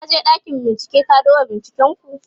ka je ɗakin bincike ka duba binciken ku!